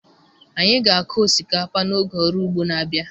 Anyị ga-akụ osikapa n'oge ọrụ ugbo na-abịa